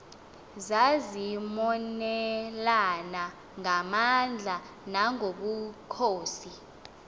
zazimonelana ngamandla nangobukhosi